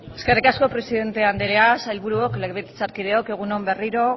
eskerrik asko presidente andrea sailburuok legebiltzarkideok egun on berriro